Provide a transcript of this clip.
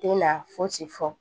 Den na fosi fɔ